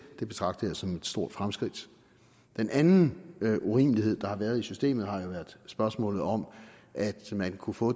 det betragter jeg som et stort fremskridt den anden urimelighed der har været i systemet har jo været spørgsmålet om at man kunne få